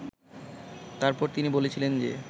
তারপর তিনি বলেছিলেন যে